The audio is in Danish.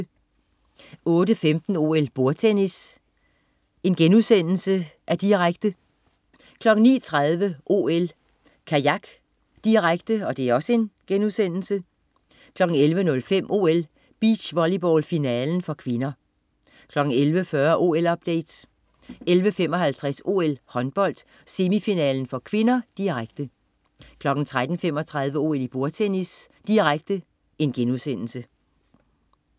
08.15 OL: Bordtennis, direkte* 09.30 OL: Kajak, direkte* 11.05 OL: Beachvolleyball, finalen (k) 11.40 OL-update 11.55 OL: Håndbold, semifinale (k), direkte 13.35 OL: Bordtennis, direkte*